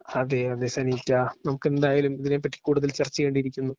അതെ അതെ സെനീറ്റ നമുക്കെന്തായാലും ഇതിനെപ്പറ്റി കൂടുതൽ ചർച്ച ചെയ്യേണ്ടിയിരിക്കുന്നു.